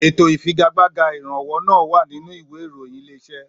Ètò ìfigagbága ìrànwọ́ náà wà nínú ìwé ìròyìn Ilé-iṣẹ́